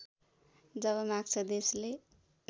जब माग्छ देशले